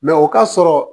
Mɛ o ka sɔrɔ